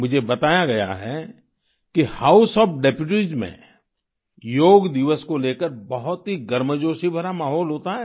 मुझे बताया गया है कि हाउस ओएफ डेप्यूटीज में योग दिवस को लेकर बहुत ही गर्मजोशी भरा माहौल होता है